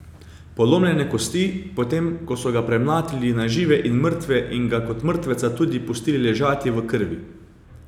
Polomljene kosti, potem ko so ga premlatili na žive in mrtve in ga kot mrtveca tudi pustili ležati v krvi.